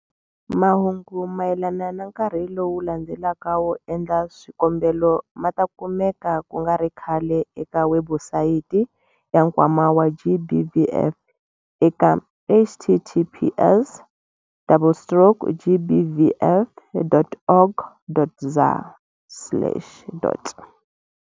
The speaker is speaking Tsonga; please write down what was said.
Mahungu mayelana na nkarhi lowu landzelaka wo endla swikombelo ma ta kumeka ku nga ri khale eka webusayiti ya Nkwama wa GBVF eka- https- double stroke gbvf.org.za.